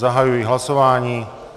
Zahajuji hlasování.